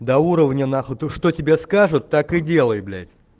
до уровня на хуй что тебе скажут так и делай блять